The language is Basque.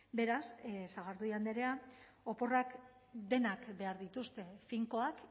beraz sagardui andrea oporrak denak behar dituzte finkoak